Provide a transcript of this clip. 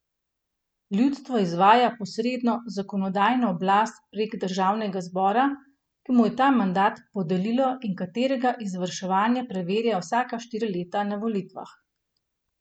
Ljudstvo izvaja posredno zakonodajno oblast prek državnega zbora, ki mu je ta mandat podelilo in katerega izvrševanje preverja vsaka štiri leta na volitvah.